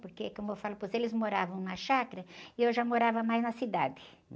Porque, como eu falo para você, eles moravam na chácara e eu já morava mais na cidade